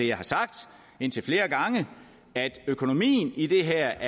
jeg har sagt indtil flere gange er at økonomien i det her